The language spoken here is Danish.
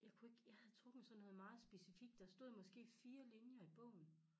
Jeg kunne ikke jeg havde trukket sådan noget meget specifikt der stod måske 4 linjer i bogen